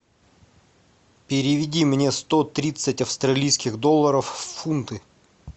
переведи мне сто тридцать австралийских долларов в фунты